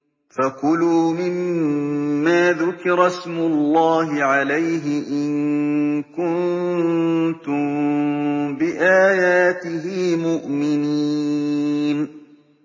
فَكُلُوا مِمَّا ذُكِرَ اسْمُ اللَّهِ عَلَيْهِ إِن كُنتُم بِآيَاتِهِ مُؤْمِنِينَ